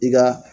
I ka